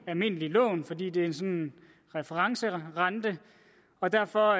almindelige lån fordi det er en referencerente og derfor